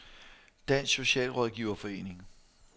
Dansk Socialrådgiverforening